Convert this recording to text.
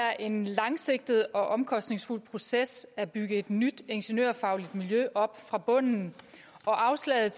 er en langsigtet og omkostningsfuld proces at bygge et nyt ingeniørfagligt miljø op fra bunden og afslaget